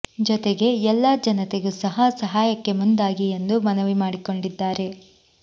ಜೊತೆಗೆ ಎಲ್ಲ ಜನತೆಗೂ ಸಹ ಸಹಾಯಕ್ಕೆ ಮುಂದಾಗಿ ಎಂದು ಮನವಿ ಮಾಡಿಕೊಂಡಿದ್ದಾರೆ